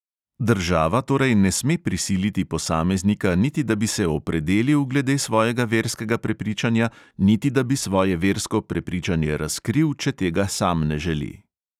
Država torej ne sme prisiliti posameznika niti da bi se opredelil glede svojega verskega prepričanja niti da bi svoje versko prepričanje razkril, če tega sam ne želi.